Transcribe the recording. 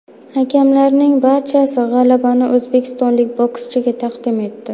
Hakamlarning barchasi g‘alabani o‘zbekistonlik bokschiga taqdim etdi.